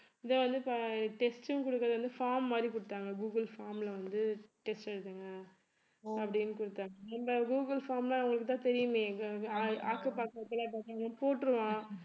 இதை வந்து test ம் குடுக்கறது வந்து form மாதிரி குடுத்தாங்க google form ல வந்து test எழுதுங்க அப்படின்னு குடுத்தாங்க இந்த google form ன்னா உங்களுக்குத்தான் தெரியுமே ஆக்கு பாக்கு வெத்தலைப் பாக்குன்னு போட்டுருவான்